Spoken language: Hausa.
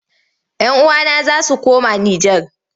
Yan uwana za su koma Nijar.